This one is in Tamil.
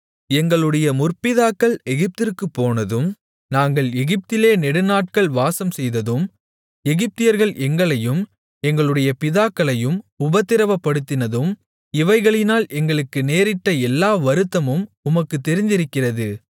எங்களுடைய முற்பிதாக்கள் எகிப்திற்குப் போனதும் நாங்கள் எகிப்திலே நெடுநாட்கள் வாசம்செய்ததும் எகிப்தியர்கள் எங்களையும் எங்களுடைய பிதாக்களையும் உபத்திரவப்படுத்தினதும் இவைகளினால் எங்களுக்கு நேரிட்ட எல்லா வருத்தமும் உமக்குத் தெரிந்திருக்கிறது